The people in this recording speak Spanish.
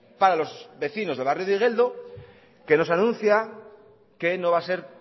para los vecinos del barrio de igeldo que nos anuncia que no va a ser